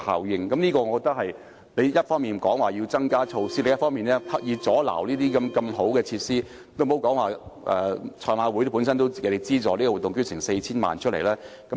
我覺得我們不應一方面要求增加措施，另一方面卻刻意阻礙發展如此好的設施，也別說香港賽馬會為這個活動提供 4,000 萬元的資助。